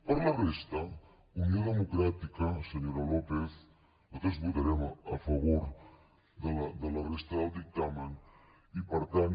per la resta unió democràtica senyora lópez nosaltres votarem a favor de la resta del dictamen i per tant